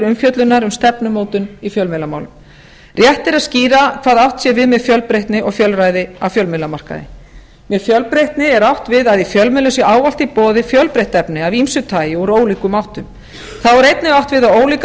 umfjöllunar um stefnumótun í fjölmiðlamálum rétt er að skýra hvað átt sé við með fjölbreytni og fjölræði á fjölmiðlamarkaði með fjölbreytni er átt við að í fjölmiðlum sé ávallt í boði fjölbreytt efni af ýmsu tagi úr ólíkum áttum þá er einnig átt við að ólíkar